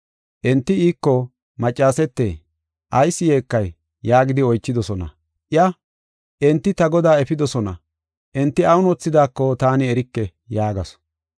Enti iiko, “Maccasete, ayis yeekay?” yaagidi oychidosona. Iya, “Enti ta Godaa efidosona; enti awun wothidaako taani erike” yaagasu.